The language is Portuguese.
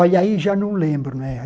Olha, aí já não lembro, né?